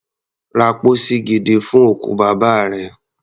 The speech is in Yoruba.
Ra pósí gidi fún òkú bàbá rẹ.